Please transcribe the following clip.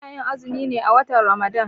Ana yin azumi ne a watan Ramadan